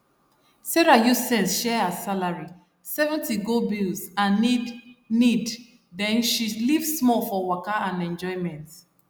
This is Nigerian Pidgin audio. sarah use sense share her salary 70 go bills and needneed then she leave small for waka and enjoyment